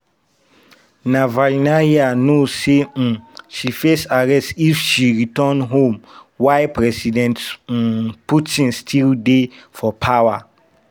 navalnaya know say um she face arrest if she return home while president um putin still dey for power.